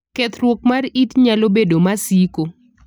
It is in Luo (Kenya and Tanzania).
Kethruok mar it nalo bedo masiko.